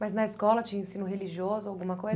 Mas na escola tinha ensino religioso, alguma coisa?